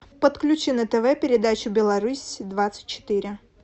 подключи на тв передачу беларусь двадцать четыре